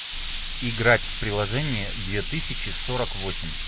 играть в приложение две тысячи сорок восемь